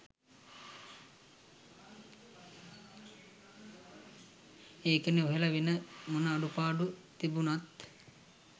ඒකනේ ඔහේල වෙන මොන අඩුපාඩු තිබුනත්